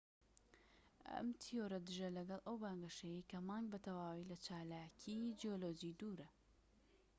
ئەم تیۆرە دژە لەگەڵ ئەو بانگەشەیەی کە مانگ بە تەواوی لە چالاکی جیۆلۆجی دوورە